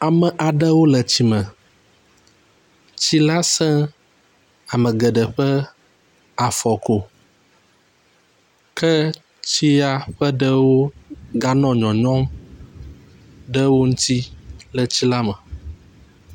Ame aɖewo le tsi me. Tsi la se ame geɖe ƒe afɔ ko ke tsia ƒe ɖewo ganɔ nyɔnyɔm ɖe wo ŋtsi le tsi la me.